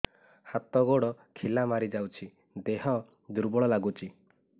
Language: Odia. ହାତ ଗୋଡ ଖିଲା ମାରିଯାଉଛି ଦେହ ଦୁର୍ବଳ ଲାଗୁଚି